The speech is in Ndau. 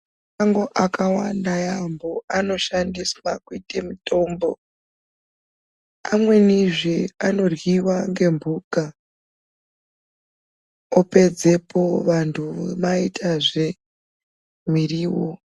Mashango akawanda yaambo anokwanisa kuitiswa mutombo. Amwenizve anoryiwa ngemhuka opedzepo vantu vomaitazve miriwo.